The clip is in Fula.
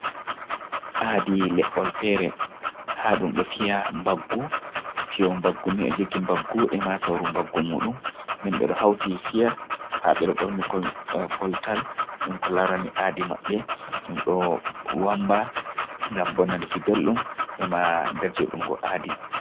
Aaadi le’yol feere haa ɗum ɗo fiya mbaggu fiyoowo mbaggu ni o jogi mbaggu e ma sawru. mbaggu muuɗum nden bee ɗo hawti fiya, ndaa be ɗo ɓorni koltal dutm ko laarani aadi maɓɓe ɗum do wammba ngam bo nanki belɗum e ma derjiɗungo aadi.